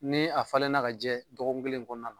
Ni a falenna ka jɛ dɔgɔkun kelen kɔɔna la